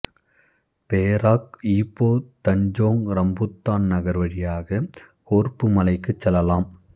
Perak Ipoh Tanjong Rambutan நகர் வழியாக Korbu மலைக்குச் செல்லலாம்